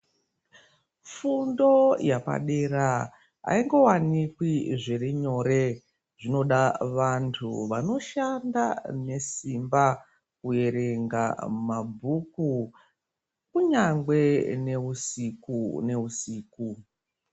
Fundo yapadera aingowanikwi zvirinyore, zvinoda vantu vanoshanda nesimba, kuverenga mabhuku, kunyangwe neusiku neusiku.